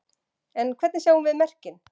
En hvernig sjáum við merkin?